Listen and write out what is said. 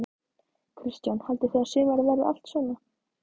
Kristján: Haldið þið að sumarið verið allt svona?